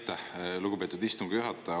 Aitäh, lugupeetud istungi juhataja!